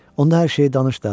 Onda hər şeyi danış da.